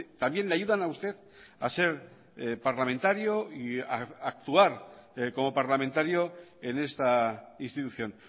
también le ayudan a usted a ser parlamentario y a actuar como parlamentario en esta institución